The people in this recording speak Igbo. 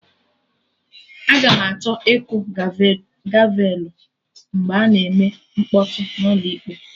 Aga m achọ ịkụ gavelụ mgbe a na-eme mkpọtụ n'ụlọ ịkpe